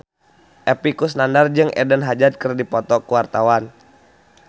Epy Kusnandar jeung Eden Hazard keur dipoto ku wartawan